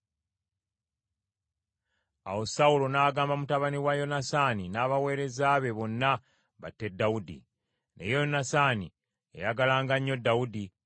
Awo Sawulo n’agamba mutabani we Yonasaani, n’abaweereza be bonna, batte Dawudi. Naye Yonasaani yayagalanga nnyo Dawudi,